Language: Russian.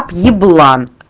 еблан